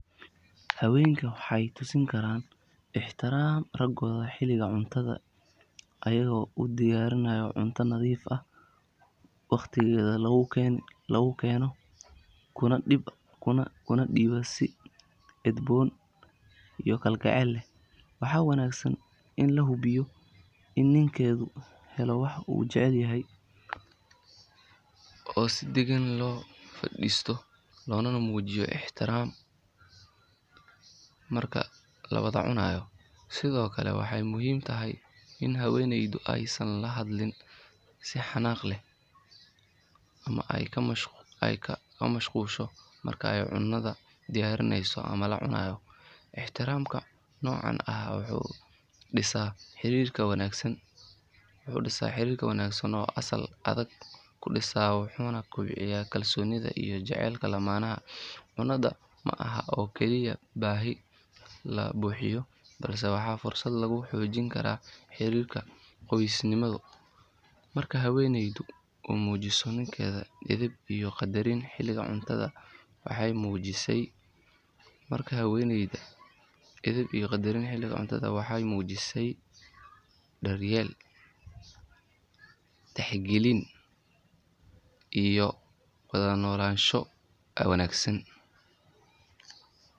Haweenku waxay tusi karaan ixtiraamka raggooda xilliga cuntada iyagoo u diyaariya cunto nadiif ah, waqtigeeda lagu keeno kuna dhiiba si edboon iyo kalgacal leh. Waxaa wanaagsan in la hubiyo in ninkeedu helo wax uu jecel yahay oo si deggan loo fadhiisto loona muujiyaa ixtiraam marka la wada cunayo. Sidoo kale waxay muhiim tahay in haweeneydu aysan la hadlin si xanaaq leh ama ay ka mashquusho marka ay cunada diyaarinayso ama la cunayo. Ixtiraamka noocan ah wuxuu dhisaa xiriir wanaagsan oo sal adag ku dhisan, wuxuuna kobciyaa kalsoonida iyo jacaylka lamaanaha. Cunadu ma aha oo keliya baahi la buuxinayo, balse waa fursad lagu xoojin karo xiriirka qoysnimo. Marka haweeneydu u muujiso ninkeeda edeb iyo qadarin xilliga cuntada, waxay muujineysaa daryeel, tixgelin iyo wada noolaansho wanaagsan.